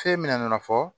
Fɛn min nana fɔ